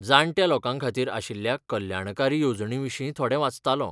जाण्ट्या लोकां खातीर आशिल्ल्या कल्याणकारी येवजणींविशीं थोडें वाचतालो.